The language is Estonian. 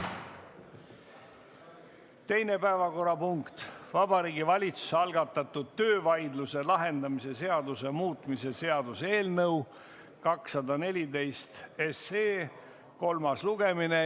Teine päevakorrapunkt, Vabariigi Valitsuse algatatud töövaidluse lahendamise seaduse muutmise seaduse eelnõu 214 kolmas lugemine.